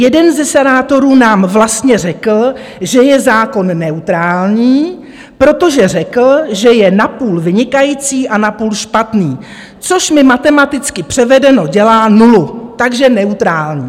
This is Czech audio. Jeden ze senátorů nám vlastně řekl, že je zákon neutrální, protože řekl, že je napůl vynikající a napůl špatný, což mi matematicky převedeno dělá nulu, takže neutrální.